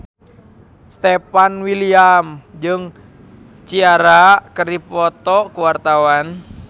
Stefan William jeung Ciara keur dipoto ku wartawan